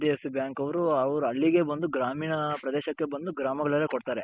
HDFC bank ಅವರು ಹಳ್ಳಿಗೆ ಬಂದು ಗ್ರಾಮೀಣ ಪ್ರದೇಶಕ್ಕೆ ಬಂದು ಗ್ರಾಮಗಳಲ್ಲೇನೆ ಕೊಡ್ತಾರೆ.